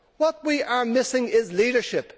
What we are missing is leadership.